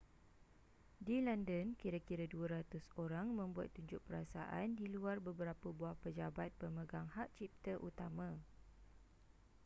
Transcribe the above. di london kira-kira 200 orang membuat tunjuk perasaan di luar beberapa buah pejabat pemegang hak cipta utama